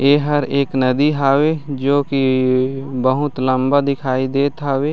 एहर एक नदी हवे जो की बहुत लम्बा दिखाई देत हवे।